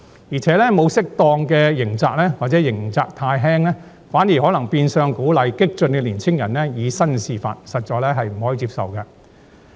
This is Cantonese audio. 而且，沒有適當刑責或刑責太輕，反而可能變相鼓勵激進的年輕人以身試法，實在不能接受。